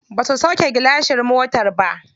Ba su sauƙe gilashin motar ba.